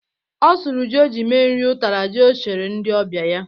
Ọ sụrụ ji o ji mee nri ụtara ji o chere ndị ọbịa ya.